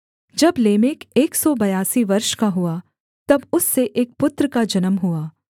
जब लेमेक एक सौ बयासी वर्ष का हुआ तब उससे एक पुत्र का जन्म हुआ